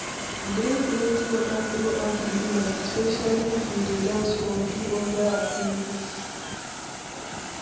Drink plenty water throughout di event, especially if you dey dance or do oda activities